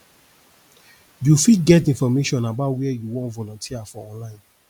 you fit get information about where you wan volunteer for online